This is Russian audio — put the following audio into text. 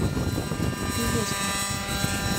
фиеста